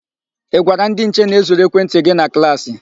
Ị gwara ndị nche na e zuru ekwentị gị na klaasị?